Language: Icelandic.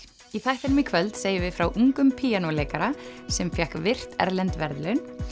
í þættinum í kvöld segjum við frá ungum píanóleikara sem fékk virt erlend verðlaun